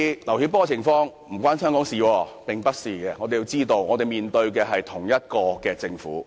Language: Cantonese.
我們必須明白，我們面對的是同一個政府，我們面對的是同一個中央政府。